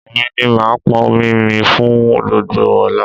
Èmi ni màá pọn omi mi fún gbogbo ọ̀la